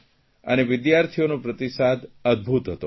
અને વિદ્યાર્થીઓનો પ્રતિસાદ અદભૂત હતો